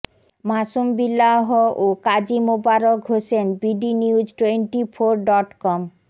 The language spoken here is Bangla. মাসুম বিল্লাহ ও Kazi Mobarak Hossain bdnews twenty four dot com